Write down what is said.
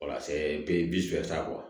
Walasa be